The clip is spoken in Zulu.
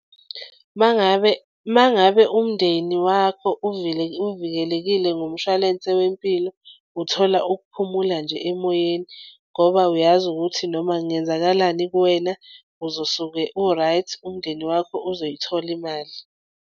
Uma ngabe uma ngabe umndeni wakho uvikelekile ngomshwalense wempilo, uthola ukuphumula nje emoyeni ngoba uyazi ukuthi noma kungenzakalani kuwena uzosuke u-right umndeni wakho uzoyithola imali.